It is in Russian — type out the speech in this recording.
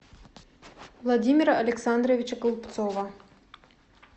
владимира александровича голубцова